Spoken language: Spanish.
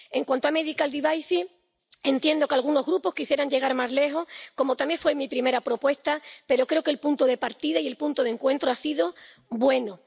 En cuanto a los productos sanitarios, entiendo que algunos grupos quisieran llegar más lejos —como también mi primera propuesta—, pero creo que el punto de partida y el punto de encuentro han sido buenos.